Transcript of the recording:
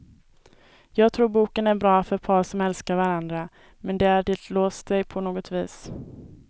Jag tror boken är bra för par som älskar varandra, men där det låst sig på något vis.